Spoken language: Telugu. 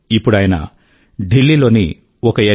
ఇప్పుడు ఆయన ఢిల్లీ లోని ఒక ఎన్